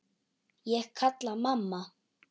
Ég kalla: Mamma!